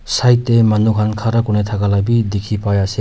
Side dae manu khan khara kurena thaka la bhi dikhi pai ase.